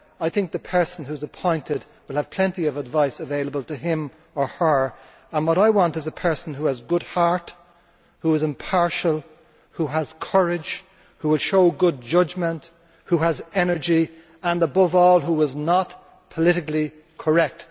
I think the person who is appointed will have plenty of advice available to him or her, and what I want is a person who has a good heart, who is impartial, who has courage, who will show good judgment, who has energy and, above all, who is not politically correct